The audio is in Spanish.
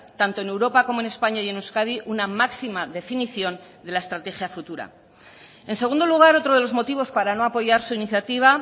tanto en europa como en españa y en euskadi una máxima definición de la estrategia futura en segundo lugar otro de los motivos para no apoyar su iniciativa